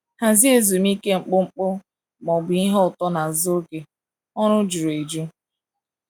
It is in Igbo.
Hazie ezumike mkpụmkpụ ma ọ bụ ihe ụtọ n’azụ oge ọrụ juru eju.